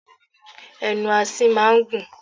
Ẹnu asín máa ń gùn.